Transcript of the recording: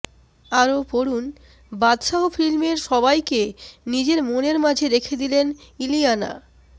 আরও পড়ুন বাদশাহো ফিল্মের সবাইকে নিজের মনের মাঝে রেখে দিলেন ইলিয়ানা